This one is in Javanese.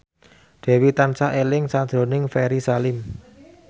Dewi tansah eling sakjroning Ferry Salim